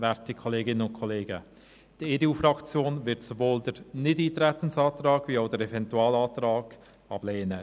Die EDU-Fraktion wird sowohl den Nichteintretensantrag als auch den Eventualantrag ablehnen.